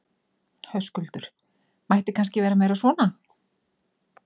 Höskuldur: Mætti kannski vera meira svona?